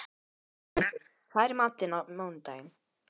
Bjargmundur, hvað er í matinn á mánudaginn?